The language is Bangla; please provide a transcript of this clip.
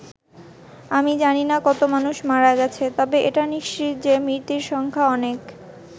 আমি জানিনা কত মানুষ মারা গেছে, তবে এটা নিশ্চিত যে মৃতের সংখ্যা অনেক'।